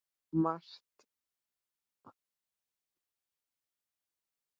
Margt hefur þó breyst.